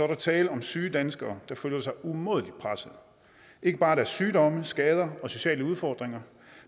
der tale om syge danskere der føler sig umådelig pressede ikke bare af deres sygdomme skader og sociale udfordringer